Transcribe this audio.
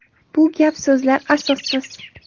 Bu gap-so‘zlar asossiz.